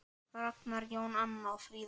Ragnar Jón og Anna Fríða.